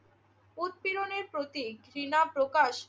উৎপীড়নের প্রতি ঘৃণা প্রকাশ